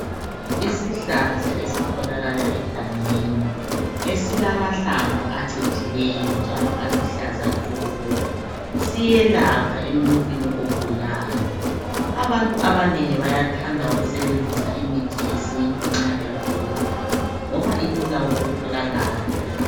Isihlahla ezitholakala egangeni esilamahlamvu acijileyo njalo aluhlaza tshoko. Siyelapha emuntwini ogulayo abantu abanengi bayathanda ukusebenzisa imithi yesintu nxa begula ngoba ilula ukutholakala.